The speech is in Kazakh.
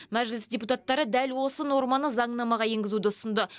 мәжіліс депутаттары дәл осы норманы заңнамаға енгізуді ұсынды